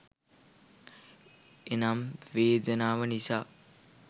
එනම්, වේදනාව නිසා